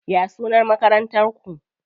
Ya sunan Makarantar ku?